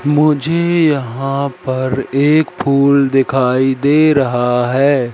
मुझे यहां पर एक फूल दिखाई दे रहा हैं।